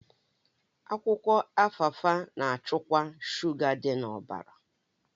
Akwụkwọ Alfalfa na-achịkwa shuga dị na ọbara